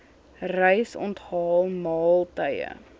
reis onthaal maaltye